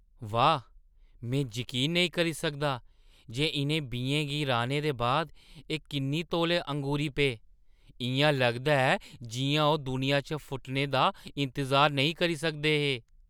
वाह्, में जकीन नेईं करी सकदा जे इʼनें बीएं गी राह्‌ने दे बाद एह् किन्ने तौले ङूरी पे। इʼयां लगदा ऐ जिʼयां ओह् दुनिया च फुटने दा इंतजार नेईं करी सकदे हे!